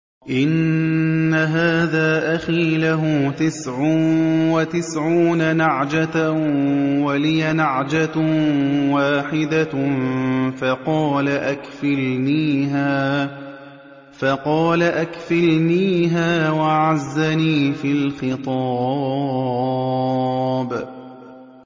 إِنَّ هَٰذَا أَخِي لَهُ تِسْعٌ وَتِسْعُونَ نَعْجَةً وَلِيَ نَعْجَةٌ وَاحِدَةٌ فَقَالَ أَكْفِلْنِيهَا وَعَزَّنِي فِي الْخِطَابِ